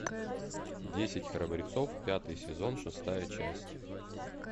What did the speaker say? десять храбрецов пятый сезон шестая часть